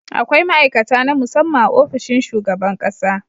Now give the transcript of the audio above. Akwai ma'aikata na musamman a ofishin shugaban ƙasa.